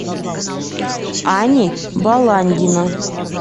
ани баландина